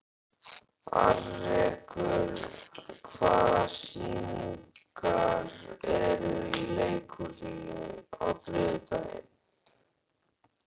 Alrekur, hvaða sýningar eru í leikhúsinu á þriðjudaginn?